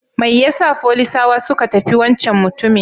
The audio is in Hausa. Mai yasa folisawa suka tafi wancan mutumin?